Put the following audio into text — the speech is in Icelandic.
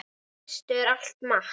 Í fyrstu er allt matt.